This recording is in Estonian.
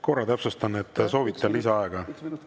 Korra täpsustan, kas te soovite lisaaega?